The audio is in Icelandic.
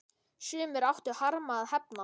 Sumir áttu harma að hefna.